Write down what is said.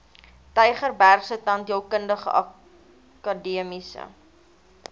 tygerbergse tandheelkundige akademiese